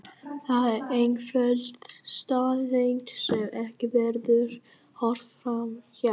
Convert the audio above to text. Það er einföld staðreynd sem ekki verður horft fram hjá.